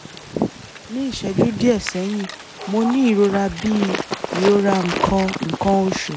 ní ìṣẹ́jú díẹ̀ sẹ́yìn mo ní ìrora bíi ìrora nǹkan nǹkan oṣù